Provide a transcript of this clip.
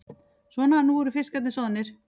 Svona, nú eru fiskarnir soðnir.